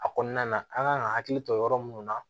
A kɔnɔna na an kan ka hakili to yɔrɔ minnu na